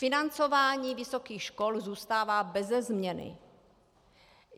Financování vysokých škol zůstává beze změny.